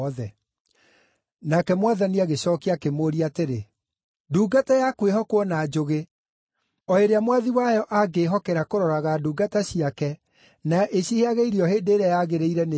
Nake Mwathani agĩcookia akĩmũũria atĩrĩ, “Ndungata ya kwĩhokwo na njũgĩ, o ĩrĩa mwathi wayo angĩĩhokera kũroraga ndungata ciake, na ĩciheage irio hĩndĩ ĩrĩa yagĩrĩire, nĩĩrĩkũ?